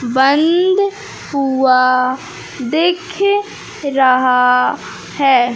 बंद हुआ दिख रहा है।